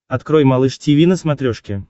открой малыш тиви на смотрешке